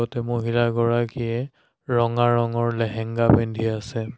ইয়াতে মহিলাগৰাকীয়ে ৰঙা ৰঙৰ লেহেংগা পিন্ধি আছে।